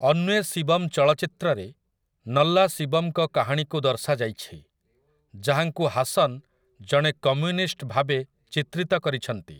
ଅନ୍ୱେ ଶିବମ୍ ଚଳଚ୍ଚିତ୍ରରେ ନଲ୍ଲାଶିବମ୍‌ଙ୍କ କାହାଣୀକୁ ଦର୍ଶାଯାଇଛି, ଯାହାଙ୍କୁ ହାସନ୍ ଜଣେ କମ୍ୟୁନିଷ୍ଟ ଭାବେ ଚିତ୍ରିତ କରିଛନ୍ତି ।